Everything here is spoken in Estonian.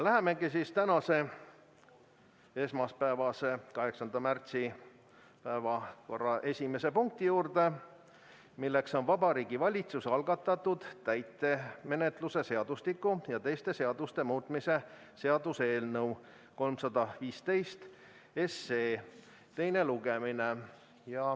Läheme tänase, 8. märtsi päevakorra esimese punkti juurde, milleks on Vabariigi Valitsuse algatatud täitemenetluse seadustiku ja teiste seaduste muutmise seaduse eelnõu 315 teine lugemine.